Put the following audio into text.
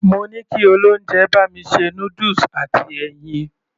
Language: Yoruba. Mo ní kí olóúnjẹ bá mi ṣe noodles àti ẹyin.